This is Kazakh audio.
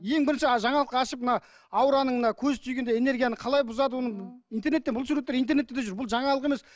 ең бірінші жаңалық ашып мына аураның мына көз тигенде энергияны қалай бұзады оны интернетте бұл суреттер интернетте де жүр бұл жаңалық емес